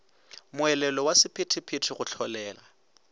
moelelo wa sephethephethe go hlolega